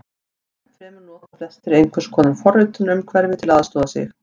Enn fremur nota flestir einhvers konar forritunarumhverfi til að aðstoða sig.